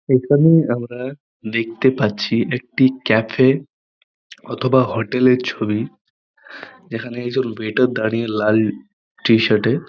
এইখানে আমরা দেখতে পাচ্ছি একটি ক্যাফে অথবা হোটেলের ছবি যেখানে ওয়েটার দাঁড়িয়ে লাল টি- শার্টে ।